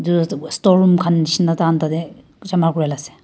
storeroom kan nishina takan tate jama kura la ase.